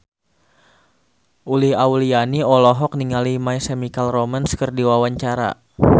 Uli Auliani olohok ningali My Chemical Romance keur diwawancara